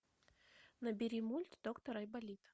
набери мульт доктор айболит